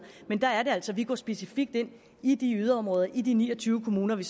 men der er det altså vi går specifikt ind i yderområderne i de ni og tyve kommuner vi